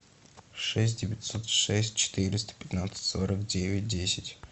шесть девятьсот шесть четыреста пятнадцать сорок девять десять